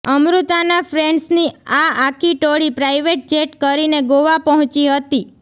અમૃતાના ફ્રેન્ડ્સની આ આખી ટોળી પ્રાઇવેટ જેટ કરીને ગોવા પહોંચી હતી